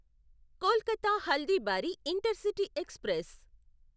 Kolkata Haldibari intercity express